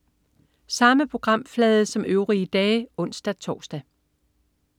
Samme programflade som øvrige dage (ons-tors)